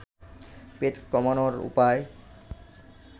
পেট কমানোর উপায়